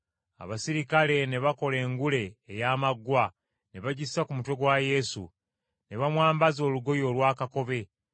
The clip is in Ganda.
Abaserikale ne bakola engule ey’amaggwa ne bagissa ku mutwe gwa Yesu, ne bamwambaza olugoye olwa kakobe,